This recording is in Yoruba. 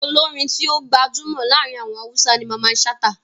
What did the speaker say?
Olórin tí ó gbajúmọ̀ láàrin àwọn Hausa ni Mamman Shata.